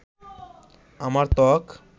আমার ত্বক